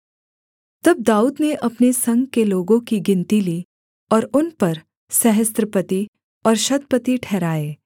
तब दाऊद ने अपने संग के लोगों की गिनती ली और उन पर सहस्त्रपति और शतपति ठहराए